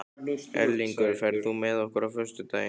Erlingur, ferð þú með okkur á föstudaginn?